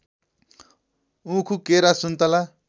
उखु केरा सुन्तला